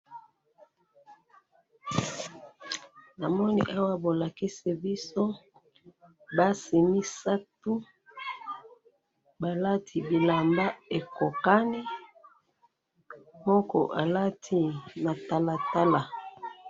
Namoni awa bolakisi biso basi misatu, balati bilamba ekokani, moko alati matalatala.